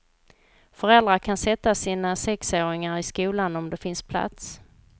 Föräldrar kan sätta sina sexårigar i skolan om det finns plats.